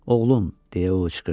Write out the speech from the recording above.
Oğlum, – deyə o pıçıldadı.